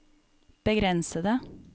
begrensede